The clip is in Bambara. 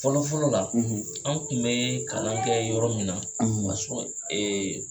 Fɔlɔfɔlɔ la an tun bɛ kalan kɛ yɔrɔ min na ma k'a sɔrɔ